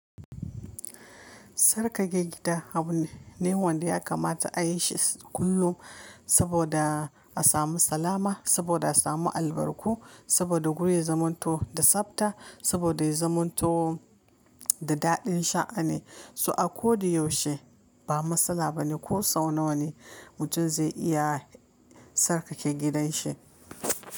Sarkake gida abu ne wanda ya kamata a yi shi kullum saboda a samu salama, saboda a samu albarku, saboda guri ya zamanto da tsabta, saboda ya zamanto da daɗin sha'ani. So a ko da yaushe ba matsala ba ne ko sau nawa ne mutum zai iya sarkake gidanshi.